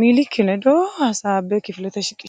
miilikki ledo hasaabbe kifilete shiqishi.